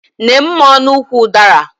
Nee mmụọ n'ukwu ụdara!